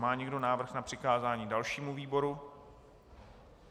Má někdo návrh na přikázání dalšímu výboru?